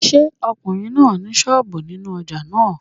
Ṣé ọkùnrin náà ni sọ́ọ̀bù nínú ojà náà?